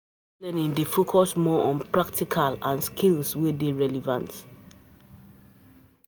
Adult learning dey focus more on practical and skills wey dey r eleven t